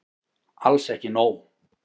Alls ekki nóg.